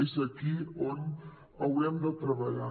és aquí on haurem de treballar